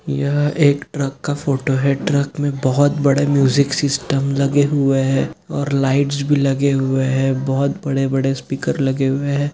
यह एक ट्रक का फोटो है ट्रक में बहुत बड़े म्यूजिक सिस्टम लगे हुए है और लाइट्स भी लगे हुए है बहुत बड़े-बड़े स्पीकर लगे हुए है।